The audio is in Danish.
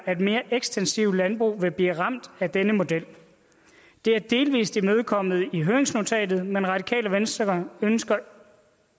at mere ekstensive landbrug vil blive ramt af denne model det er delvis imødekommet i høringsnotatet men radikale venstre ønsker